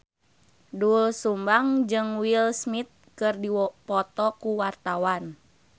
Doel Sumbang jeung Will Smith keur dipoto ku wartawan